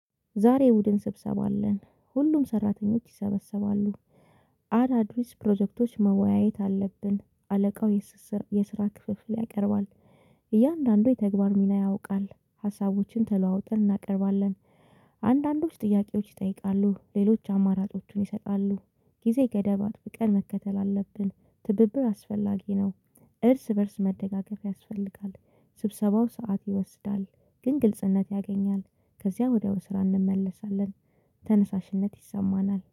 ዛሬ ቡድን ስብሰባ አለን ሁሉም ሰራተኞች ይሰበሰባሉ። አድ አድሪስ ፕሮጀክቶች መወያየት አለብን አለቃው የስስር የስራ ክፍፍል ያቀርባል እያንዳንዱ ተግባር ሚና ያውቃል ሀሳቦችን ተለዋውጠን እናቀርባለን። አንዳንዶች ጥያቄዎች ይጠይቃሉ ሌሎች አማራጮቹን ይሰጣሉ ጊዜ ገደባት ቀን መከተል አለብን ትብብር አስፈላጊ ነው እርስ በእርስ መደጋገፍ ያስፈልጋል ስብሰባው ሰዓት ይወስዳል ግን ግልጽነት ያገኛል ከዚያ ወዲያው ስራ እንመለሳለን ተነሳሽነት ይሰማናል።